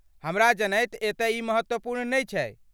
हमरा जनैत एतय ई महत्वपूर्ण नहि छै।